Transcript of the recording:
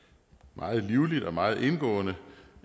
meget livligt og meget indgående